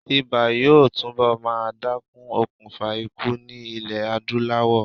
Ibà yóò túnbọ̀ máa dákún okùnfà ikú ní ilè Adúláwọ̀.